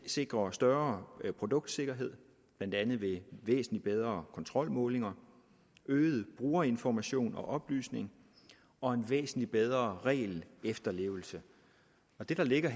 sikre større produktsikkerhed blandt andet ved væsentlig bedre kontrolmålinger øget brugerinformation og oplysning og en væsentlig bedre regelefterlevelse det der ligger